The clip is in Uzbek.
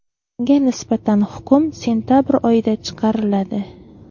Unga nisbatan hukm sentabr oyida chiqariladi.